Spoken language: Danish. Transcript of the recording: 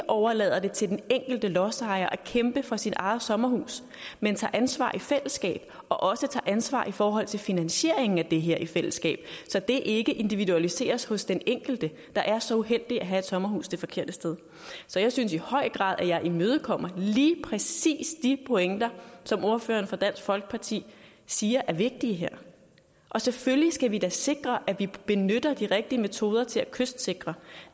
overlader det til den enkelte lodsejer at kæmpe for sit eget sommerhus men tager ansvar i fællesskab og også tager ansvar i forhold til finansieringen af det her i fællesskab så det ikke individualiseres hos den enkelte der er så uheldig at have et sommerhus det forkerte sted så jeg synes i høj grad at jeg imødekommer lige præcis de pointer som ordføreren for dansk folkeparti siger er vigtige her og selvfølgelig skal vi da sikre at vi benytter de rigtige metoder til at kystsikre